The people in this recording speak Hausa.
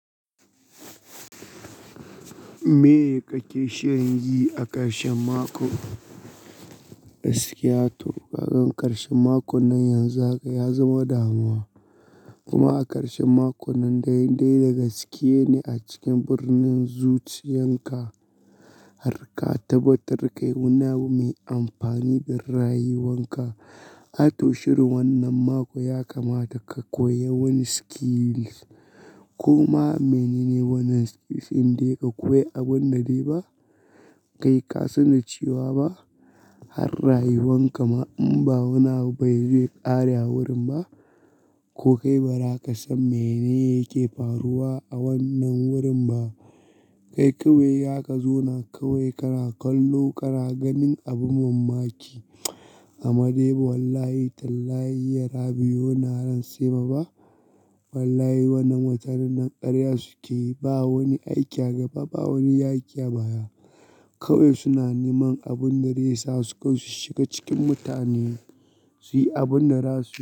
Me kake shirin yi a ƙarshen mako? Gaskiyato, gagan ƙarshen mako nan yanzu haka ya zama damuwa. Kuma a ƙarshen mako nan dai dai daga sike ne a cikin birnin zuciyan ka. Har ka tabbatar kai wani abu mai amfani da rayuwan ka. A to shirin wannan mako ya kamata ka koya wani skills. Kuma menene wannan skills in dai ka koya abun da dai ba kai ka san da cewa ba har rayuwan ka ma in ba wani abu bai zai ƙare a wurin ba, ko kai ba za ka san menene yake faruwa a wannan wurin ba. Kai kawai haka zo na kawai kana kallo kana ganin abun ban mamaki. Amma dai ba wallahi tallayi yara biyu na ran sai ba ba. Wallahi wannan watanni nan ƙarya suke yi. Ba wani aiki a gaba ba wani yaƙi a baya. Kawai suna neman abin da zai sa su kai su shiga cikin mutane su yi abin da rasu.